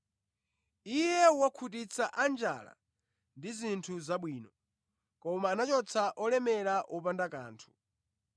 Iye wakhutitsa a njala ndi zinthu zabwino koma anachotsa olemera wopanda kanthu.